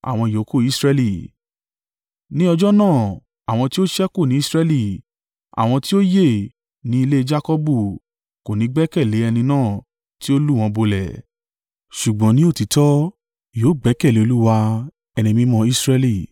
Ní ọjọ́ náà, àwọn tí ó ṣẹ́kù ní Israẹli, àwọn tí ó yè ní ilé e Jakọbu, kò ní gbẹ́kẹ̀lé ẹni náà tí ó lù wọ́n bolẹ̀, ṣùgbọ́n ní òtítọ́ yóò gbẹ́kẹ̀lé Olúwa, Ẹni Mímọ́ Israẹli.